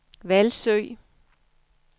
Hvalsø